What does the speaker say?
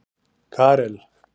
Karel